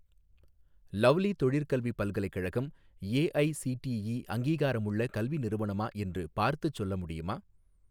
Lovely தொழிற்கல்வி பல்கலைக்கழகம் AICTE அங்கீகாரமுள்ள கல்வி நிறுவனமா என்று பார்த்துச் சொல்ல முடியுமா?